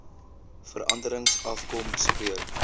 veranderings afkom spreek